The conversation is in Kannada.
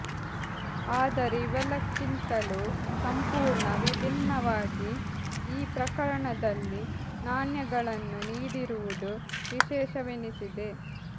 ಆದರೆ ಇವೆಲ್ಲಕ್ಕಿಂತಲೂ ಸಂಪೂರ್ಣ ವಿಭಿನ್ನವಾಗಿ ಈ ಪ್ರಕರಣದಲ್ಲಿ ನಾಣ್ಯಗಳನ್ನು ನೀಡಿರುವುದು ವಿಶೇಷವೆನಿಸಿದೆ